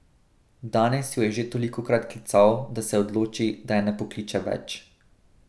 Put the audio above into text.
Danes jo je že tolikokrat klical, da se odloči, da je ne pokliče več.